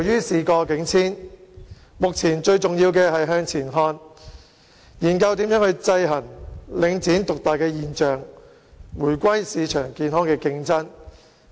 事過境遷，目前最重要的是向前看，研究怎樣制衡領展獨大的現象，讓市場回歸健康的競爭。